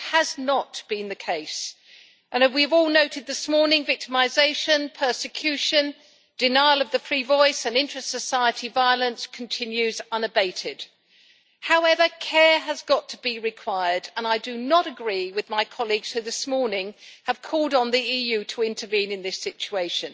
But that has not been the case, and as we've all noted this morning, victimisation, persecution, denial of the free voice and inter society violence continues unabated. However, care should be taken, and I do not agree with those of my colleagues who this morning have called on the EU to intervene in this situation.